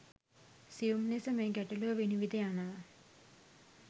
සියුම් ලෙස මේ ගැටලුව විනිවිද යනව.